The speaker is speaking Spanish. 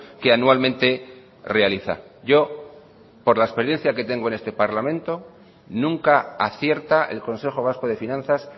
que anualmente realiza yo por la experiencia que tengo en este parlamento nunca acierta el consejo vasco de finanzas